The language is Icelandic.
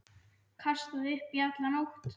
Kastaði upp í alla nótt.